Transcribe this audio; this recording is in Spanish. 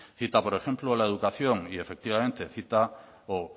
cita por ejemplo la educación y efectivamente cita o